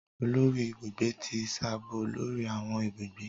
Olórí Ibùgbé ti sábó lórí awọn ibùgbé.